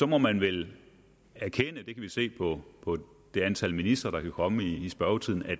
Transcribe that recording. må man vel erkende at vi se på på det antal ministre der kan komme i spørgetiden